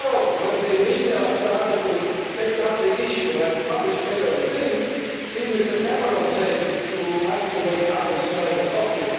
project for Europe. When the media started to take up the issue and published many of these things, even Mr Cameron said that it is time to wake up and